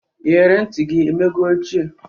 Iyere ntị gị emego ochie?